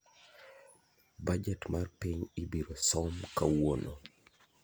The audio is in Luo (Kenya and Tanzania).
Baget mar piny ibiro som kawuono.